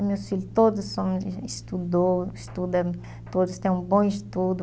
Meus filhos todos são, estudou, estudam, todos têm um bom estudo.